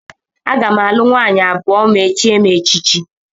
Aga m alụ nwaanyị abụọ ma e chie m echichi